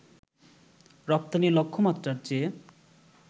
রপ্তানি লক্ষ্যমাত্রার চেয়ে